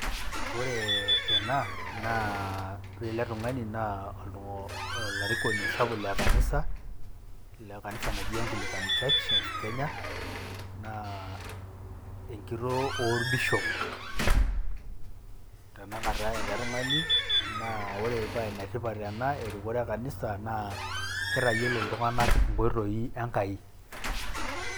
Ore ena naa ore ele tung'ani naa olarikoni sapuk le kanisa, le kanisa anji [Anglican Church of Kenya] naa kitoo orbishop tenakata ele tung'ani naa ore paa enetipat ena aa erikore ekanisa naa kitayiolo iltung'anak inkoitoi e Enkai.